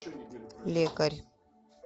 лекарь